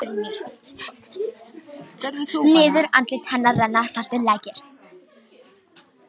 Niður andlit hennar renna saltir lækir.